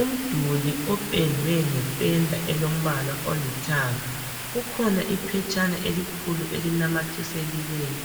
Umduli opendwe ngependa elombala olithanga. Kukhona iphetshana elikhulu elinanathiseliweyo.